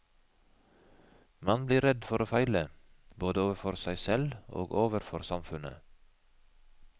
Man blir redd for å feile, både overfor seg selv og overfor samfunnet.